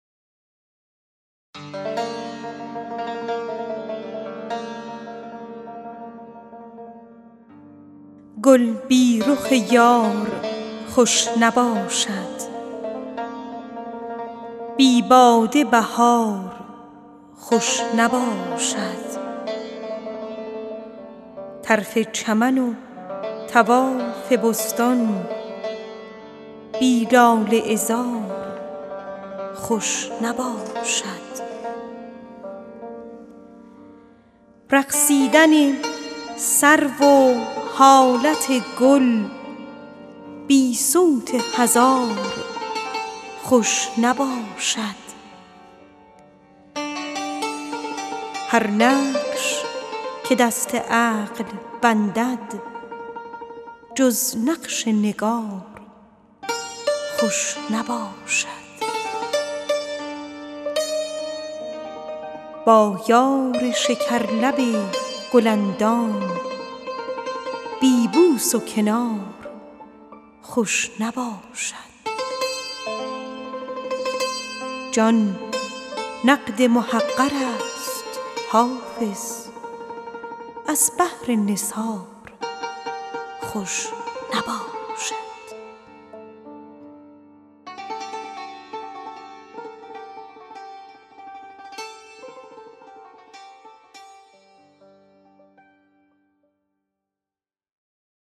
گل بی رخ یار خوش نباشد بی باده بهار خوش نباشد طرف چمن و طواف بستان بی لاله عذار خوش نباشد رقصیدن سرو و حالت گل بی صوت هزار خوش نباشد با یار شکرلب گل اندام بی بوس و کنار خوش نباشد هر نقش که دست عقل بندد جز نقش نگار خوش نباشد جان نقد محقر است حافظ از بهر نثار خوش نباشد